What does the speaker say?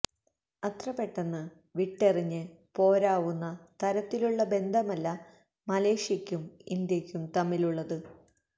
അത്ര പെട്ടെന്ന് വിട്ടെറിഞ്ഞ് പോരാവുന്ന തരത്തിലുള്ള ബന്ധമല്ല മലേഷ്യക്കും ഇന്ത്യക്കും തമ്മിലുള്ളത്